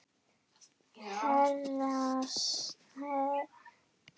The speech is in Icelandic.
Herrans þjónn það ber.